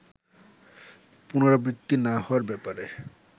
পুনরাবৃত্তি না হওয়ার ব্যাপারে